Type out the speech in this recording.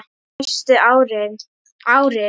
Næstu árin.